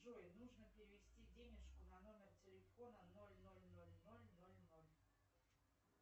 джой нужно перевести денежку на номер телефона ноль ноль ноль ноль ноль ноль